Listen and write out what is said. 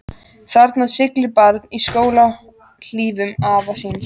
Þarna siglir barn í skóhlífum afa síns.